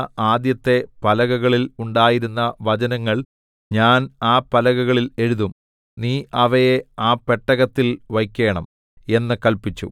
നീ ഉടച്ചുകളഞ്ഞ ആദ്യത്തെ പലകകളിൽ ഉണ്ടായിരുന്ന വചനങ്ങൾ ഞാൻ ആ പലകകളിൽ എഴുതും നീ അവയെ ആ പെട്ടകത്തിൽ വയ്ക്കേണം എന്ന് കല്പിച്ചു